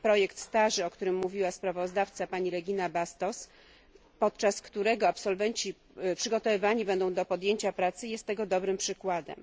Projekt Stage, o którym mówiła sprawozdawczyni pani Regina Bastos, podczas którego absolwenci będą przygotowywani do podjęcia pracy, jest tego dobrym przykładem.